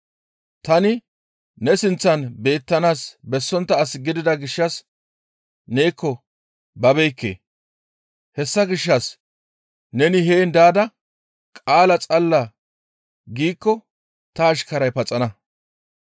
Tani ne sinththan beettanaas bessontta as gidida gishshas neekko babeekke; hessa gishshas neni heen daada qaala xalla giikko ta ashkaray paxana.